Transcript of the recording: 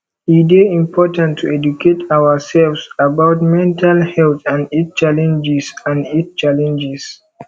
e dey important to educate ourselves about mental health and its challenges and its challenges